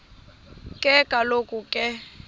ke kaloku ke